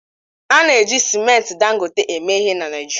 A na-eji simenti Dangote eme ihe na Naịjirịa